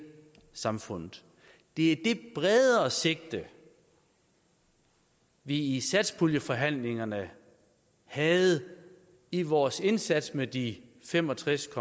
samfundet det er det bredere sigte vi i satspuljeforhandlingerne havde i vores indsats med de fem og tres